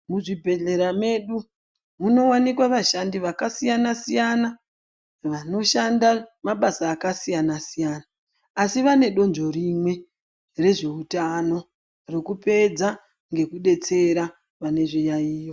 Muzvibhedhlera medu munowanikwa vashandi vakasiyana siyana vanoshanda mabasa akasiyana siyana asi vane donzvo rimwe rezveutano rekupedza ngekubetsera vane zviyayiyo.